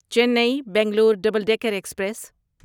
چینی Bangalore double decker express